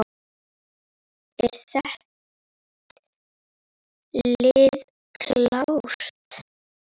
Er þitt lið klárt?